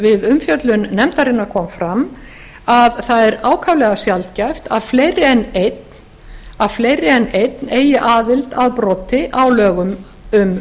við umfjöllun nefndarinnar kom fram að það er ákaflega sjaldgæft að fleiri en einn eigi aðild að broti á lögum um